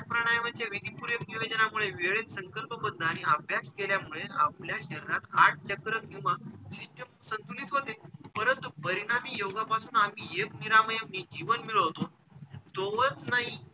प्राणायमाचे विधिपूर्वक नियोजनामुळे वेळेत संकल्पबद्ध आणि अभ्यास केल्यामुळेच आपल्या शरीरात आठ चक्र किंवा system संतुलित होते परंतु परिणामी योगापासून आम्ही एक निरामय जे जीवन मिळवतो तोवर नाही,